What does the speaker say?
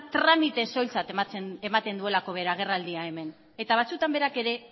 tramite soiltzat ematen duelako bere agerraldia hemen eta batzutan berak ere